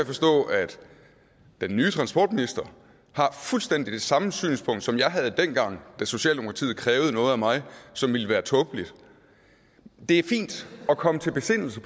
forstå at den nye transportminister har fuldstændig det samme synspunkt som jeg havde dengang socialdemokratiet krævede noget af mig som ville være tåbeligt det er fint at komme til besindelse